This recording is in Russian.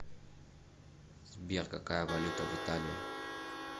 сбер какая валюта в италии